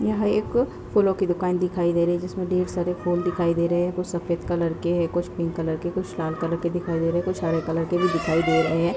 यहाँ एक ओर फूलों की दुकान दिखाई दे रही है जिसमें ढेर सारे फूल दिखाई दे रहे हैं। कुछ सफ़ेद कलर के हैं कुछ पिंक कलर के कुछ लाल कलर के दिखाई दे रहे हैं कुछ हरे कलर के दिखाई दे रहे हैं।